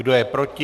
Kdo je proti?